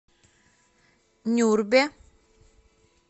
нюрбе